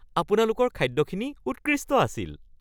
আপোনালোকৰ খাদ্যখিনি উৎকৃষ্ট আছিল (গ্ৰাহক)